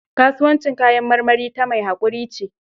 Kasuwancin kayan maramari ta mai haƙuri ce.